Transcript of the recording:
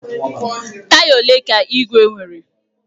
Taya ole ka igwe nwere?